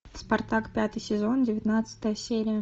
спартак пятый сезон девятнадцатая серия